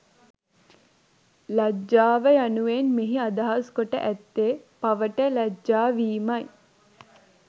ලජ්ජාව යනුවෙන් මෙහි අදහස් කොට ඇත්තේ පවට ලජ්ජාවීම යි.